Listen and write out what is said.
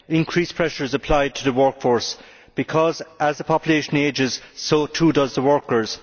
Increased pressures apply to the workforce because, as the population ages, so too do the workers.